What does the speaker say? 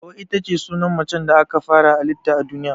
Hauwa itace sunan macen da aka fara hallita a duniya.